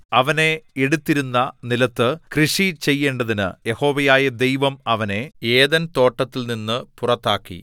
അവനെ എടുത്തിരുന്ന നിലത്ത് കൃഷി ചെയ്യേണ്ടതിന് യഹോവയായ ദൈവം അവനെ ഏദെൻതോട്ടത്തിൽനിന്നു പുറത്താക്കി